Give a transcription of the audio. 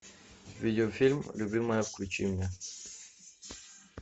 видеофильм любимая включи мне